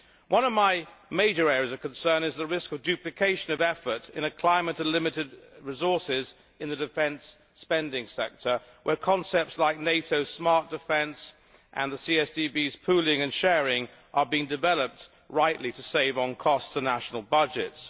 One of my major areas of concern is the risk of duplication of effort in a climate of limited resources in the defence spending sector, where concepts like NATO, smart defence and the CSDP's pooling and sharing are being developed rightly to save on costs to national budgets.